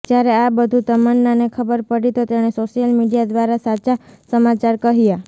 જ્યારે આ બધુ તમન્નાને ખબર પડી તો તેણે સોશિયલ મીડિયા દ્વારા સાચા સમાચાર કહ્યા